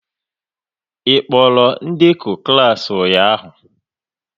Ị kpọrọ ndekọ klas ụnyaahụ?